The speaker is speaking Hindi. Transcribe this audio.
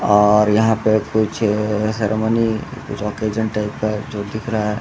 और यहाँ पे कुछ सेरेमनी कुछ ऑकेजन टाइप का जो दिख रहा है।